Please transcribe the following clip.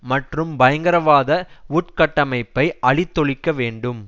மற்றும் பயங்கரவாத உட்கட்டமைப்பை அழித்தொழிக்க வேண்டும்